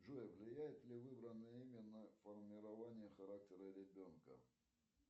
джой влияет ли выбранное имя на формирование характера ребенка